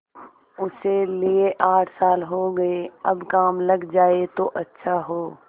उसे लिये आठ साल हो गये अब काम लग जाए तो अच्छा हो